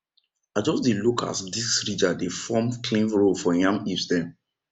i just dey look as disc ridger dey form clean row for yam hips dem